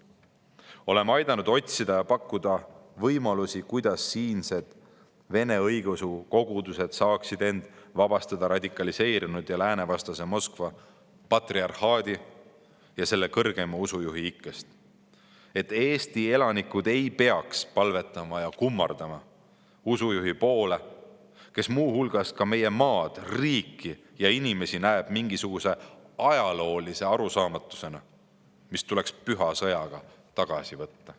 Oleme aidanud otsida ja pakkuda võimalusi, kuidas siinsed Vene õigeusu kogudused saaksid end vabastada radikaliseerunud ja läänevastase Moskva patriarhaadi ja selle kõrgeima usujuhi ikkest, et Eesti elanikud ei peaks palvetama ja kummardama usujuhi poole, kes muuhulgas ka meie maad, riiki ja inimesi näeb mingisuguse ajaloolise arusaamatusena, mis tuleks püha sõjaga tagasi võtta.